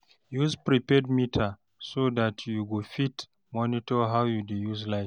use prepaid meter so dat yu go fit monitor how yu dey use light